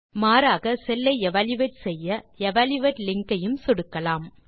மாறாக செல் ஐ எவல்யூயேட் செய்ய எவல்யூயேட் லிங்க் ஐயும் சொடுக்கலாம்